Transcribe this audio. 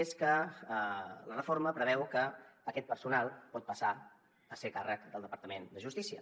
és que la reforma preveu que aquest personal pot passar a ser a càrrec del departament de justícia